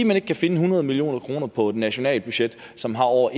man ikke kan finde hundrede million kroner på et nationalt budget som har over